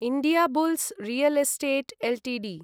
Indiabulls real estate Ltd